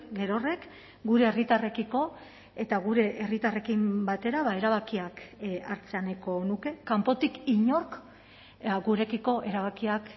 gerorrek gure herritarrekiko eta gure herritarrekin batera erabakiak hartzea nahiko nuke kanpotik inork gurekiko erabakiak